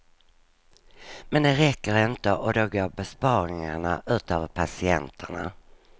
Men det räcker inte och då går besparingarna ut över patienterna.